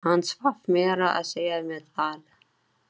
Hann svaf meira að segja með það.